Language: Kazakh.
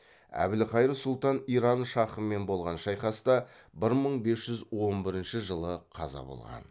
әбілқайыр сұлтан иран шахымен болған шайқаста бір мың бес жүз он бірінші жылы қаза болған